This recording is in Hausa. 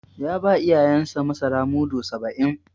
Ya ba iyayensa masara mudu saba'in.